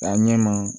K'a ɲɛ ma